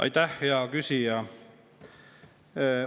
Aitäh, hea küsija!